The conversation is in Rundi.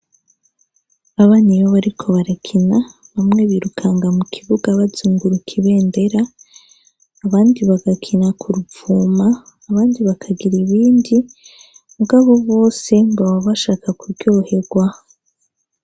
Abana iyo bariko barakina, bamwe birukanga mu kibuga bazunguruka ibendera, abandi bagakina ku ruvuma, abandi bakagira ibindi, mugabo bose baba bashaka kuryoherwa.